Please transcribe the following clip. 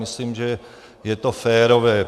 Myslím, že je to férové.